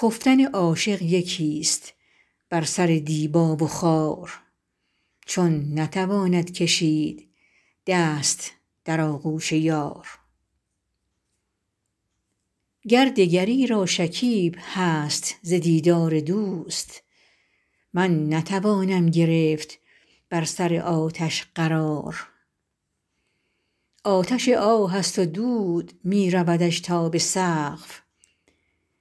خفتن عاشق یکیست بر سر دیبا و خار چون نتواند کشید دست در آغوش یار گر دگری را شکیب هست ز دیدار دوست من نتوانم گرفت بر سر آتش قرار آتش آه است و دود می رودش تا به سقف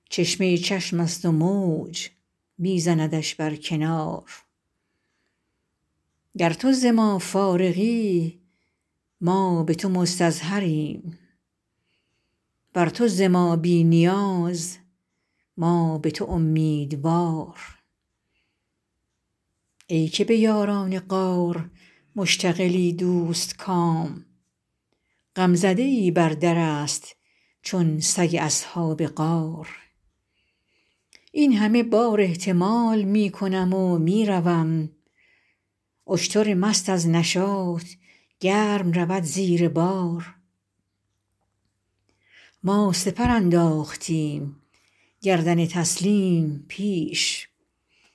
چشمه چشمست و موج می زندش بر کنار گر تو ز ما فارغی ما به تو مستظهریم ور تو ز ما بی نیاز ما به تو امیدوار ای که به یاران غار مشتغلی دوستکام غمزده ای بر درست چون سگ اصحاب غار این همه بار احتمال می کنم و می روم اشتر مست از نشاط گرم رود زیر بار ما سپر انداختیم گردن تسلیم پیش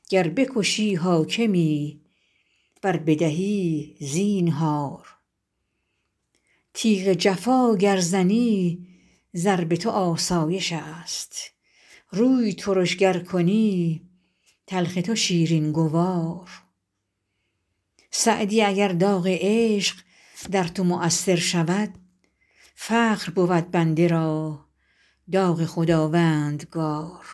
گر بکشی حاکمی ور بدهی زینهار تیغ جفا گر زنی ضرب تو آسایشست روی ترش گر کنی تلخ تو شیرین گوار سعدی اگر داغ عشق در تو مؤثر شود فخر بود بنده را داغ خداوندگار